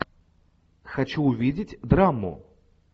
хочу увидеть драму